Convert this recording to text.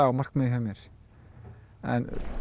markmiðið hjá mér en